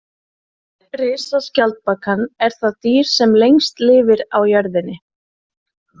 Risaskjaldbakan er það dýr sem lengst lifir á jörðinni.